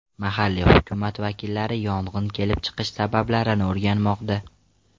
Mahalliy hukumat vakillari yong‘in kelib chiqish sabablarini o‘rganmoqda.